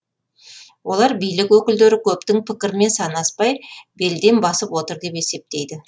олар билік өкілдері көптің пікірмен санаспай белден басып отыр деп есептейді